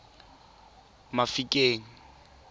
mafikeng